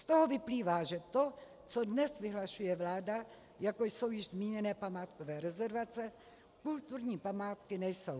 Z toho vyplývá, že to, co dnes vyhlašuje vláda, jako jsou již zmíněné památkové rezervace, kulturní památky nejsou.